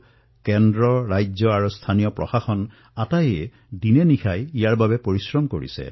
কেন্দ্ৰই হওক অথবা ৰাজ্যই হওক বা স্থানীয় স্বৰাজ্যৰ সংস্থাই হওকপ্ৰতিজনে দিনেনিশাই পৰিশ্ৰম কৰিছে